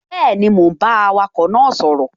Bẹ́ẹ̀ni, mò ún bá awakọ̀ náà sọ̀rọ̀